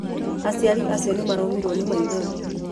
Aciari acio nĩ maraumirwo ni maithori.